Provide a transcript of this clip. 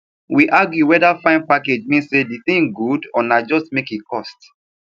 we argue whether fine package mean say the thing good or na just make e cost